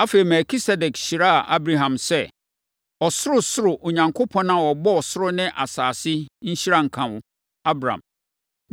Afei, Melkisedek hyiraa Abram sɛ: “Ɔsorosoro Onyankopɔn a ɔbɔɔ soro ne asase, nhyira nka wo, Abram.